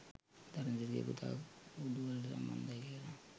ධර්මසිරිගෙ පුතා කුඩුවලට සම්බන්ධයි කියලා